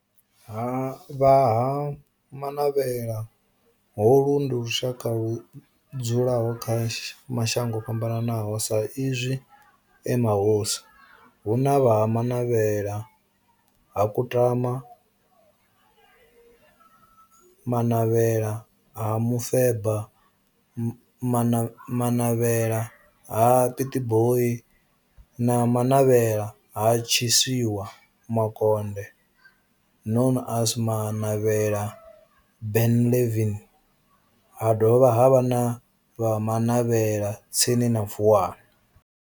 Vha Ha-Manavhela, holu ndi lushaka ludzula kha mashango ofhambanaho sa izwi e mahosi hu na Manavhela ha Kutama, Manavhela ha Mufeba, Manavhela ha Pietboi na Manavhela ha Tshiwisa Makonde known as Manavhela Benlavin ha dovha havha na Manavhela tsini na Vuwani.